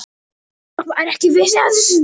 Það er ekki víst.